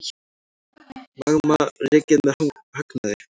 Magma rekið með hagnaði